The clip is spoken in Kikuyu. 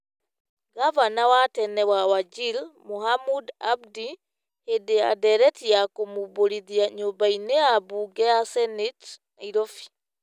Ngavana wa tene wa Wajir Mohamud Abdi hĩndĩ ya ndereti ya kũmũmbũrithia nyũmba-inĩ ya mbunge ya Seneti, Nairobi.